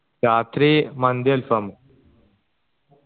രാത്രി മന്തി അൽഫാമും